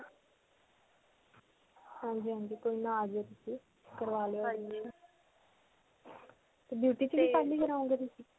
ਹਾਂਜੀ. ਹਾਂਜੀ. ਕੋਈ ਨਾ ਆ ਜਿਓ ਤੁਸੀਂ. ਕਰਵਾ ਲਿਓ admission. ਤੇ beauty 'ਚ ਵੀ ਕੱਲ੍ਹ ਹੀ ਕਰਵਾਉਣਗੇ ਤੁਸੀਂ?